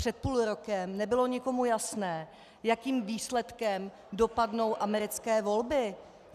Před půl rokem nebylo nikomu jasné, jakým výsledkem dopadnou americké volby.